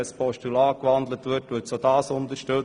Sie würde auch ein Postulat unterstützen.